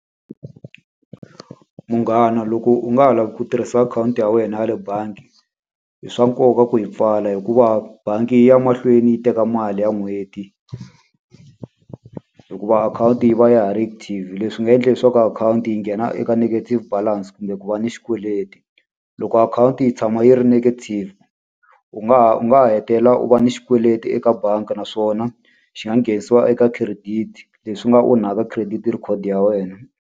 Munghana loko u nga ha lavi ku tirhisa akhawunti ya wena ya le bangi, i swa nkoka ku yi pfala hikuva bangi yi ya mahlweni yi teka mali ya n'hweti. Hikuva akhawunti yi va ya ha ri active. Leswi nga endla leswaku ka akhawunti yi nghena eka negative balance kumbe ku va ni xikweleti. Loko akhawunti yi tshama yi ri negative u nga ha u nga ha hetelela u va ni xikweleti eka bangi naswona, xi nga nghenisiwa eka credit. Leswi nga onhaka credit record ya wena.